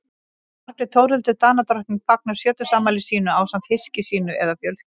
margrét þórhildur danadrottning fagnar sjötugsafmæli sínu ásamt hyski sínu eða fjölskyldu